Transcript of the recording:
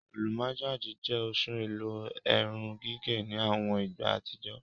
Alúmọ̀gájì jẹ́ oṣùn ẹ̀lò èrùn-gígẹ̀ ni awọn ìgbà atijọ.